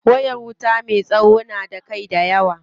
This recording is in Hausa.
Wayar wuta me tsawo na da kai dayawa.